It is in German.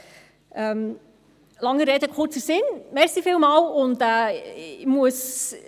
Der langen Rede kurzer Sinn: Vielen Dank.